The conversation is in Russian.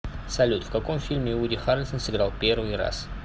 салют в каком фильме вуди харрельсон сыграл первый раз